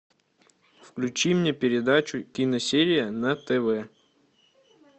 включи мне передачу киносерия на тв